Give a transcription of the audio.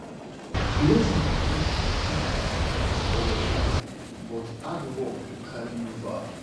Blessing fit shine for your life, but hard work go carry you far.